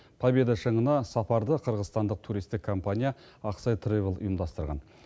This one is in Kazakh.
победа шыңына сапарды қырғызстандық туристік компания аксай травел ұйымдастырған